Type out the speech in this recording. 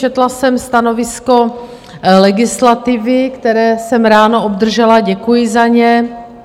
Četla jsem stanovisko legislativy, které jsem ráno obdržela, děkuji za ně.